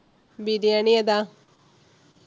ബിരിയാണ്യെതാ?